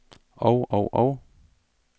og og og